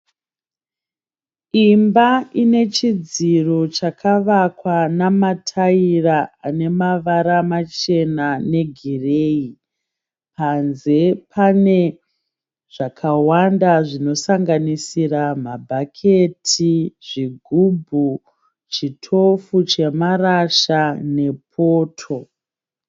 Imba ine chidziro chakavakwa nemataira ane mavara machena negireyi. Panze pane zvakawanda zvinosanganisira mabhaketi, zvigubhu, chitofu chamarasha nepoto.